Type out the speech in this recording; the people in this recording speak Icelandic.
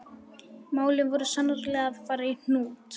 Málin voru sannarlega að fara í hnút.